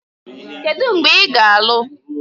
Kedu mgbe ị ga-alụ?